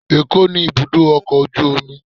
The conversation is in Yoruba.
ẹkọ ni ibudọ ọkọ ojú omí